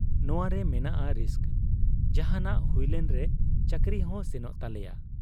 ᱱᱚᱶᱟᱨᱮ ᱢᱮᱱᱟᱜ ᱟ ᱨᱤᱥᱠ ᱾ ᱡᱟᱦᱟᱸᱱᱟᱜ ᱦᱩᱭᱞᱮᱱ ᱨᱮ ᱪᱟᱹᱠᱨᱤ ᱦᱚᱸ ᱥᱮᱱᱚᱜ ᱛᱟᱞᱮᱭᱟ ᱾